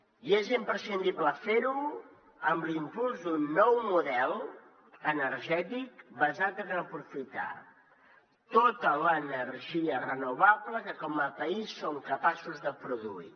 i és imprescindible fer ho amb l’impuls d’un nou model energètic basat en aprofitar tota l’energia renovable que com a país som capaços de produir